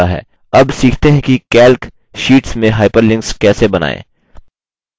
अब सीखते हैं कि calc शीट्स में hyperlinks कैसे बनाएँ